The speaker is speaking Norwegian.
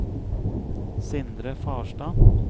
Sindre Farstad